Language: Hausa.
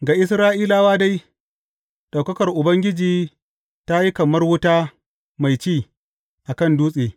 Ga Isra’ilawa dai, ɗaukakar Ubangiji ta yi kamar wuta mai ci a kan dutse.